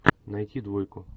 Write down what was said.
найти двойку